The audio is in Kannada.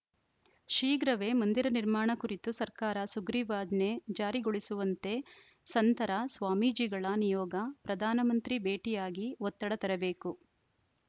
ಶೀಘ್ರವೇ ಮಂದಿರ ನಿರ್ಮಾಣ ಕುರಿತು ಸರ್ಕಾರ ಸುಗ್ರೀವಾಜ್ಞೆ ಜಾರಿಗೊಳಿಸುವಂತೆ ಸಂತರ ಸ್ವಾಮೀಜಿಗಳ ನಿಯೋಗ ಪ್ರಧಾನಮಂತ್ರಿ ಭೇಟಿಯಾಗಿ ಒತ್ತಡ ತರಬೇಕು